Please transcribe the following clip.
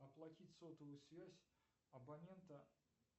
оплатить сотовую связь абонента